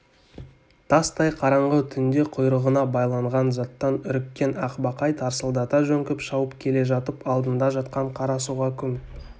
тастай қараңғы түнде құйрығына байланған заттан үріккен ақбақай тарсылдата жөңкіп шауып келе жатып алдында жатқан қара суға күмп